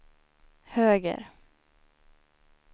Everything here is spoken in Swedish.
höger